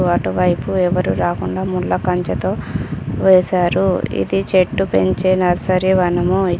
అటువైపు ఎవరూ రాకుండా ముళ్ళ కంచతో వేశారు ఇది చెట్టు పెంచే నర్సరీ వనము.